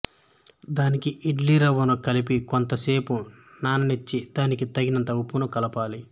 దానికి ఇడ్లీ రవ్వను కలిపి కొంత సేపు నాననిచ్చి దానికి తగినంత ఉప్పును కలపాలి